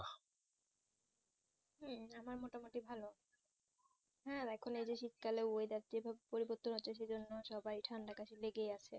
হুম আমার মোটা মতি ভালো হ্যাঁ এখন হয়তো শীত কালে weather তা খুব পরিবর্তন হচ্ছে সেই জন্য সবার ঠান্ডা কাশি লেগেই আছে